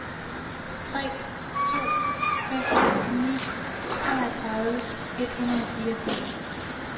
tre to fem ni treogtredive et hundrede og fireogfirs